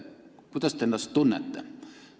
Kuidas te ennast tunnete?